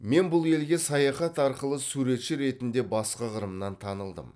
мен бұл елге саяхат арқылы суретші ретінде басқа қырымнан танылдым